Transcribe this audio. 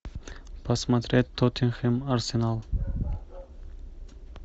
посмотреть тоттенхэм арсенал